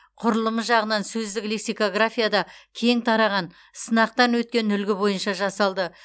құрылымы жағынан сөздік лексикографияда кең тараған сынақтан өткен үлгі бойынша жасалды